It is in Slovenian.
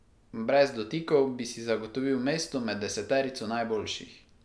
Brez dotikov bi si zagotovil mesto med deseterico najboljših.